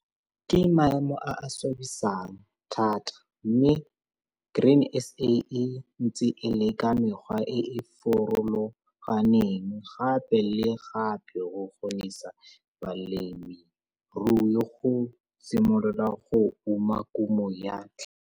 Ke maemo a a swabisang thata mme Grain SA e ntse e leka mekgwa e e farologaneng gape le gape go kgonisa balemirui go simolola go uma kumo ya tlhaka.